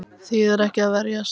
Þýðir ekki að verjast